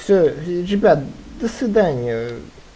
всё ребят до свидания